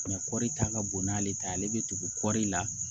kɔri ta ka bon n'ale ta ye ale bɛ tugu kɔri la